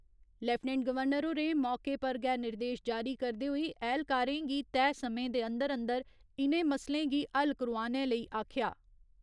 Lieutenant governor होरें मौके पर गै निर्देश जारी करदे होई ऐह्‌लकारें गी तैह् समें दे अंदर अंदर इ'नें मसलें गी हल करोआनै लेई आखेआ।